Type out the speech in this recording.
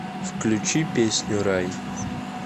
включи песню рай